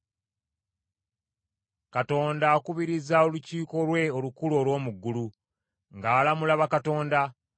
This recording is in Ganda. Katonda akubiriza olukiiko lwe olukulu olw’omu ggulu, ng’alamula bakatonda.